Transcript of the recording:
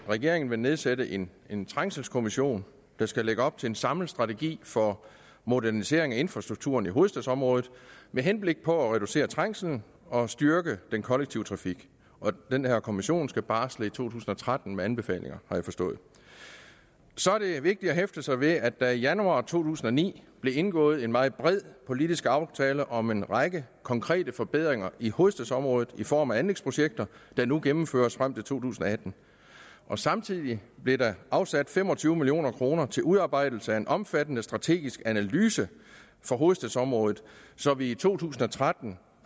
regeringen vil nedsætte en en trængselskommission der skal lægge op til en samlet strategi for modernisering af infrastrukturen i hovedstadsområdet med henblik på at reducere trængslen og styrke den kollektive trafik den her kommission skal barsle i to tusind og tretten med anbefalinger har jeg forstået så er det vigtigt at hæfte sig ved at der i januar to tusind og ni blev indgået en meget bred politisk aftale om en række konkrete forbedringer i hovedstadsområdet i form af anlægsprojekter der nu gennemføres frem til to tusind og atten samtidig blev der afsat fem og tyve million kroner til udarbejdelse af en omfattende strategisk analyse for hovedstadsområdet så vi i to tusind og tretten